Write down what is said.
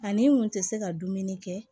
Ani n kun tɛ se ka dumuni kɛ